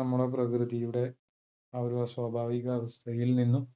നമ്മളെ പ്രകൃതിയുടെ ആ ഒരാസ്വാഭാവിക അവസ്ഥയിൽ നിന്നും